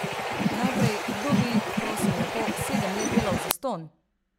Najprej, kdo bi, prosim lepo, sedem let delal zastonj?